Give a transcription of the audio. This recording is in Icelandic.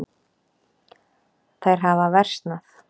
Þær hafa versnað.